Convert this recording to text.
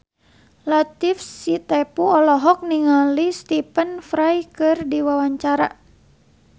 Latief Sitepu olohok ningali Stephen Fry keur diwawancara